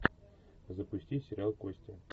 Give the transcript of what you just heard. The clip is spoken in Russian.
запусти сериал кости